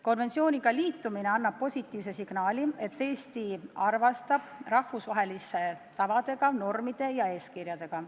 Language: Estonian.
Konventsiooniga liitumine annab positiivse signaali, et Eesti arvestab rahvusvaheliste tavade, normide ja eeskirjadega.